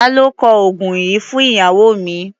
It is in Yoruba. Ta ló kọ oògùn yìí fún ìyàwó mi?